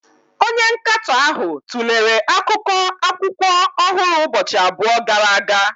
Onye nkatọ ahụ tụlere akụkọ akwụkwọ ọhụrụ ụbọchị abụọ gara aga.